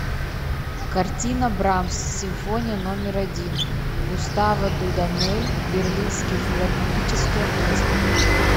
картина брамс симфония номер один густаво дудамель берлинский филармонический оркестр